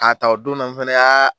K'a ta o don na, fana y'a